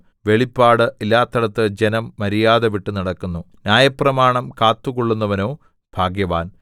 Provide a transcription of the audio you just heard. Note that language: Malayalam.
വെളിപ്പാട് ഇല്ലാത്തിടത്ത് ജനം മര്യാദവിട്ടു നടക്കുന്നു ന്യായപ്രമാണം കാത്തുകൊള്ളുന്നവനോ ഭാഗ്യവാൻ